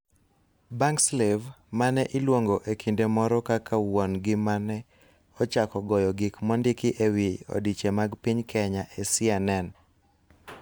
Bankslave, mane iluongo e kinde moro kaka wuon gi mane ochako goyo gik mondiki e wi odiche mag piny Kenya e CNN.